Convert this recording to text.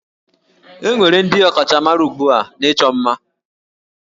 E nwere ndị ọkachamara ugbu a n'ịchọ ima